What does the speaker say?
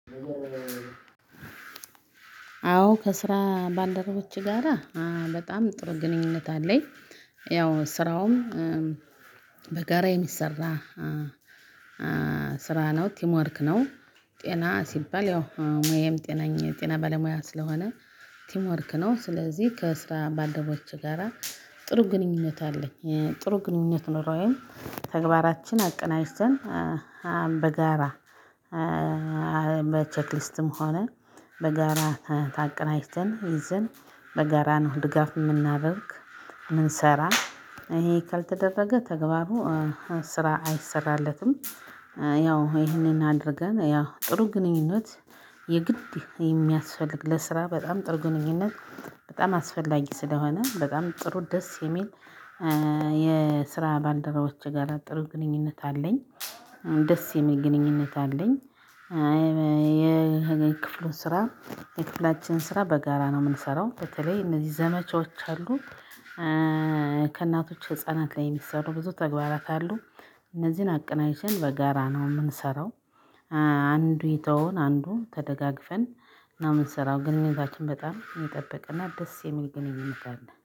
አዎ ከስራ ባልደረቦቼ ጋራ በጣም ጥሩ ግንኙነት አለኝ። ያው ስራውም በጋራ የሚሰራ ስራ ነው ቲምወርክ ነው። ጤና ሲባል ያው ሙያዬም ጤናኝ የ ጤና ባለሙያ ስለሆነ ቲምወርክ ነው ስለዚህ ከስራ ባልደረቦቼ ጋራ ጥሩ ግንኙነት አለኝ። ጥሩ ግንኙነት ኑሮዬን ተግባራችን አቀናጅተን በጋራ በቼክሊስትም ሆነ በጋራ ተቀናጅተን ይዘን በጋራ ነው ድጋፍ የምናደርግ የምንሰራ ሰራ ይሄ ካልተደረገ ተግባሩ ስራ አይሰራለትም። ያው ይሄንን አድርገን ያው ጥሩ ግንኙነት የግድ የሚያስፈልግ ለስራ በጣም ጥሩ ግንኙነት በጣም አስፈላጊ ስለሆነ በጣም ጥሩ ደስ የሚል የስራ ባልደረባዎቼ ጋር ጥሩ ግንኙነት አለኝ። ደስ የሚል ግንኙነት አለኝ። የክፍሉ ስራ የክፍላችን ስራ በጋራ ነው የምንሰራው በተለይ እነዚህ ዘመቻዎች አሉ። ከእናቶች ህፃናት ላይ የሚሰሩ ብዙ ተግባራት አሉ። እነዚህን አቀንቅጅተን በጋራ ነው የምንሰራው። አንዱ የተወውን አንዱ ተደጋግፈን ነው የምንሰራው ግንኙነታችን በጣም የሚጠብቅና ደስ የሚል ግንኙነት አለ